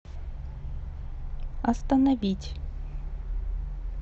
остановить